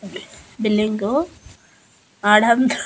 బిల్డింగో Adam--